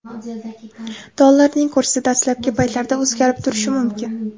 Dollarning kursi dastlabki paytlarda o‘zgarib turishi mumkin.